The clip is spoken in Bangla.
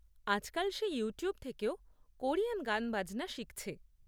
আজকাল সে ইউটিউব থেকেও কোরিয়ান গানবাজনা শিখছে।